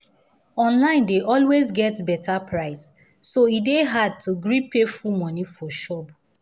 online dey always get better price so e dey hard to gree pay full money for shop.